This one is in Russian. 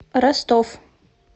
ростов